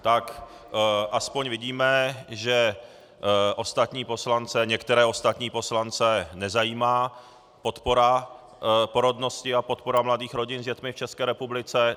Tak aspoň vidíme, že některé ostatní poslance nezajímá podpora porodnosti a podpora mladých rodin s dětmi v České republice.